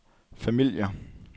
familier